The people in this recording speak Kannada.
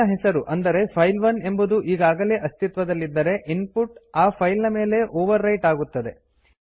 ಫೈಲ್ ನ ಹೆಸರು ಅಂದರೆ ಫೈಲ್1 ಎಂಬುದು ಈಗಾಗಲೇ ಅಸ್ತಿತ್ವದಲ್ಲಿದ್ದರೆ ಇನ್ಪುಟ್ ಆ ಫೈಲ್ ನ ಮೇಲೆ ಓವರ್ ರೈಟ್ ಆಗುತ್ತದೆ